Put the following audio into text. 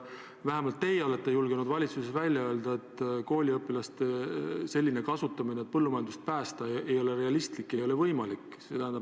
Vähemalt teie olete julgenud valitsuses välja öelda, et kooliõpilaste kasutamine põllumajanduse päästmiseks ei ole realistlik, ei ole võimalik.